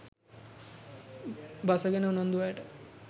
බස ගැන උනන්දු අයට